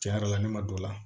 Cɛn yɛrɛ la ne ma don o la